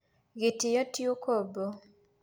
Gĩtĩo tĩ ũkombo.